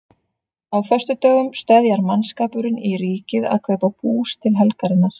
Á föstudögum steðjar mannskapurinn í Ríkið að kaupa bús til helgarinnar.